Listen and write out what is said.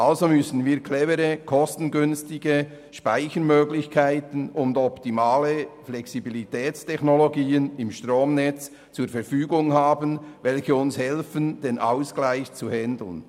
Also müssen wir clevere, kostengünstige Speichermöglichkeiten und optimale Flexibilitätstechnologien im Stromnetz zur Verfügung haben, welche uns dabei helfen, den Ausgleich zu bewerkstelligen.